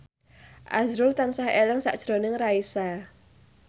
azrul tansah eling sakjroning Raisa